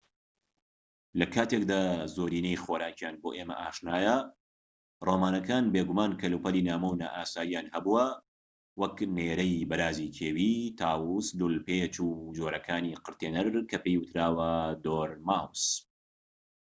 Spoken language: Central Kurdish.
لە کاتێکدا زۆرینەی خۆراکیان بۆ ئێمە ئاشنایە ڕۆمانەکان بێگومان کەلوپەلی نامۆ و نائاساییان هەبووە وەک نێرەی بەرازی کێوی تاووس لوولپێچ و جۆرەکانی قرتێنەر کە پێی وتراوە دۆرماوس